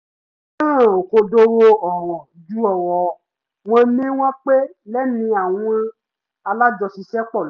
mo fẹ́ràn òkodoro ọ̀rọ̀ ju ọ̀rọ̀ wọ́n ní wọ́n pé lẹ́nu àwọn alájọṣiṣẹ́pọ̀ lọ